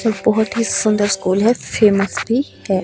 ये बहोत ही सुंदर स्कूल है फेमस भी है।